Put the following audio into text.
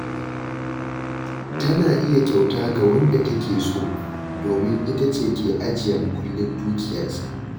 Tana iya kyauta ga wanda take so, domin ita ce ke ajiya muƙullin dukiyarsa.